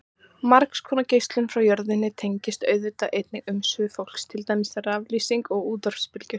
Margs konar geislun frá jörðinni tengist auðvitað einnig umsvifum fólks, til dæmis raflýsing og útvarpsbylgjur.